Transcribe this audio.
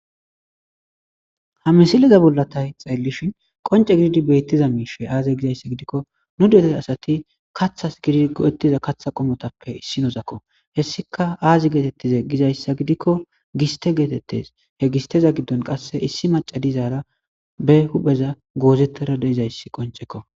ha misiliza bollatay xeellishin qonce gididi beettiza miishe aaze gizayssa gidikko nu detey asati kathas gidigohettiza katha qomotappe issi nozakko hessika aazi geetettize gizayssa gidikko giste geetettes he gisteza giddon qasse issi maca dizaara be hupheza goozettara deizayssi qoncekko